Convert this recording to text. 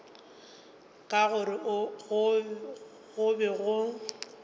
ka gore go be go